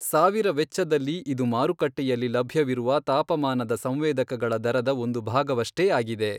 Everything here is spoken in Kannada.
ಸಾವಿರ ವೆಚ್ಚದಲ್ಲಿ ಇದು ಮಾರುಕಟ್ಟೆಯಲ್ಲಿ ಲಭ್ಯವಿರುವ ತಾಪಮಾನದ ಸಂವೇದಕಗಳ ದರದ ಒಂದು ಭಾಗವಷ್ಟೇ ಆಗಿದೆ.